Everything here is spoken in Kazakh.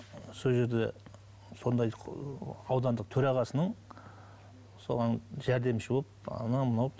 сол жерде сондай аудандық төрағасының соған жәрдемші болып анау мынау